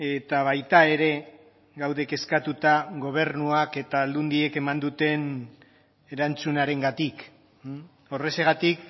eta baita ere gaude kezkatuta gobernuak eta aldundiek eman duten erantzunarengatik horrexegatik